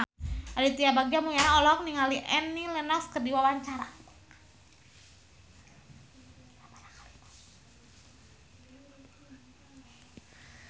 Aditya Bagja Mulyana olohok ningali Annie Lenox keur diwawancara